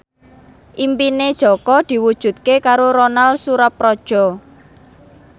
impine Jaka diwujudke karo Ronal Surapradja